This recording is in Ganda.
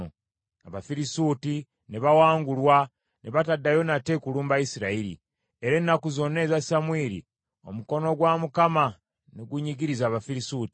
Abafirisuuti ne bawangulwa, ne bataddayo nate kulumba Isirayiri. Era ennaku zonna eza Samwiri, omukono gwa Mukama ne gunyigiriza Abafirisuuti.